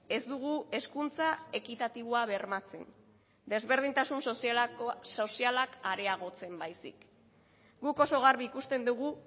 ez dugu hezkuntza ekitatiboa bermatzen desberdintasun sozialak areagotzen baizik guk oso garbi ikusten dugu